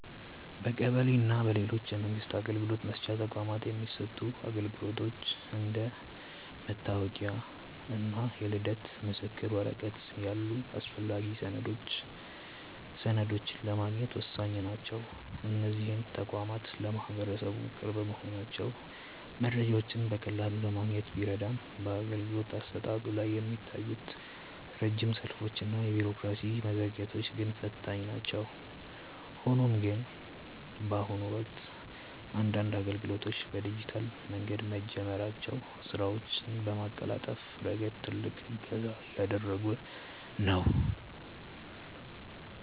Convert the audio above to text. በቀበሌ እና በሌሎች የመንግስት አገልግሎት መስጫ ተቋማት የሚሰጡ አገልግሎቶች እንደ መታወቂያ እና የልደት ምስክር ወረቀት ያሉ አስፈላጊ ሰነዶችን ለማግኘት ወሳኝ ናቸው። እነዚህ ተቋማት ለማህበረሰቡ ቅርብ መሆናቸው መረጃዎችን በቀላሉ ለማግኘት ቢረዳም፣ በአገልግሎት አሰጣጡ ላይ የሚታዩት ረጅም ሰልፎች እና የቢሮክራሲ መዘግየቶች ግን ፈታኝ ናቸው። ሆኖም ግን፣ በአሁኑ ወቅት አንዳንድ አገልግሎቶች በዲጂታል መንገድ መጀመራቸው ስራዎችን በማቀላጠፍ ረገድ ትልቅ እገዛ እያደረገ ነው።